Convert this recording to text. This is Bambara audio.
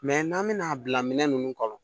Mɛ n'an bɛna'a bila minɛn ninnu kɔnɔ